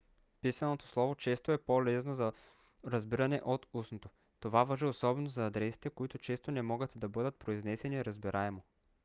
писаното слово често е по-лесно за разбиране от устното. това важи особено за адресите които често не могат да бъдат произнесени разбираемо